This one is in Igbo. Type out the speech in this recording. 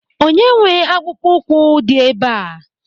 Onye nwe akpụkpọ ụkwụ dị ebe a?